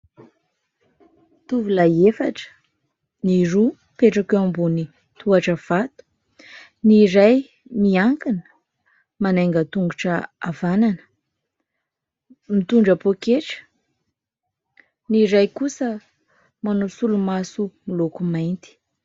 Tovolahy efatra, ny roa mipetraka eo ambony tohatra vato, ny iray miankina manainga tongotra havanana mitondra poketra, ny iray kosa manao solomaso miloko mainty.